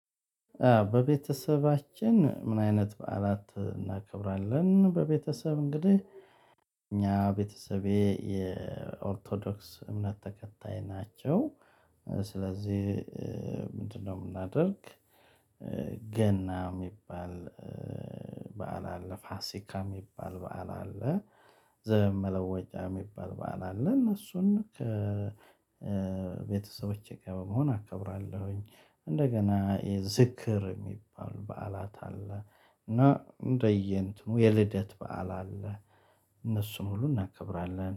በቤተሰባችን? ምን አይነት በዓላት እናከብራለን በቤተሰብ እንግዲህ እኛ ቤተሰቤ የኦርቶዶክስ እምነት ተከታይ ናቸው። ስለዚህ እንትን ነው እምናደርግ። ገና እሚባል በዓል አለ ፋሲካ እሚባል በዓል አለ። ዘመን መለወጫ እሚባል በዓል አለ እነሱን ከቤተሰቦቼ ጋር በመሆን አከብራለሁኝ። እንደገና ዝክር እሚባል በዓላት አለ። እና እንደየ እንትኑ የልደት በዓል አለ። እነሱን ሁሉ እናከብራለን